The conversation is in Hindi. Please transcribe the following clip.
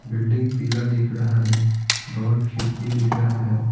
बिल्डिंग पीला दिख रहा है बहुत खिड़की दिख रहा है।